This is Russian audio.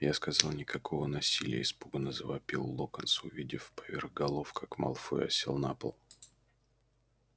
я сказал никакого насилия испуганно завопил локонс увидев поверх голов как малфой осел на пол